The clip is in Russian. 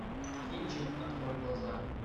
кинчик открой глаза